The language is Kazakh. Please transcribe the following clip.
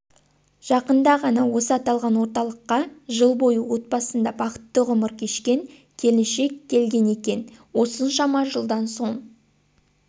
жақында ғана осы аталған орталықққа жыл бойы отбасыңда бақытты ғұмыр кешкен келіншек келгенекен осыншама жылдан соң